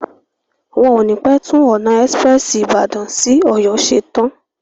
Wọ́n o ní pé tún ọ̀nà ẹ́sprẹ́sì Ìbàdàn sí Ọ̀yọ́ ṣe tán.